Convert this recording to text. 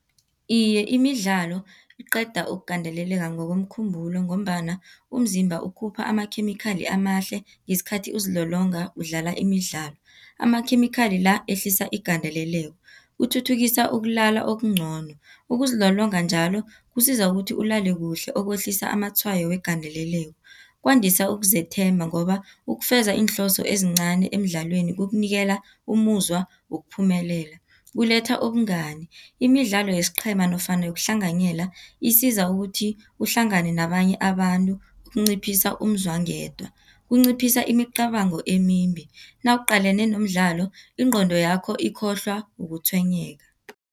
Iye, imidlalo iqeda ukugandeleleka ngokomkhumbulo, ngombana umzimba ukhupha amakhemikhali amahle ngesikhathi uzilolonga udlala imidlalo, amakhemikhali la ehlisa igandeleleko. Uthuthukisa ukulala okuncono, ukuzilolonga njalo kusiza ukuthi ulale kuhle okwehlisa amatshwayo wegandeleleko. Kwandisa ukuzethemba, ngoba ukufeza iinhloso ezincani emdlalweni kukunikela umuzwa wokuphumelela. Kuletha ubungani, imidlalo yesiqhema nofana yokuhlanganyela isiza ukuthi uhlangane nabanye abantu ukunciphisa umzwangedwa. Kunciphisa imicabango emimbi, nawuqalene nomdlalo ingqondo yakho ikhohlwa ukutshwenyeka.